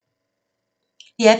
DR P2